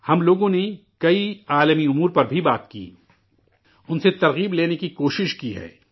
ہم لوگوں نے کئی عالمی امور پر بھی بات کی، ان سے تحریک لینے کی کوشش کی ہے